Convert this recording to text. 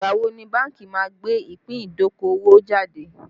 Ìgbà wo ni bánkì má gbé ìpín idokowo jáde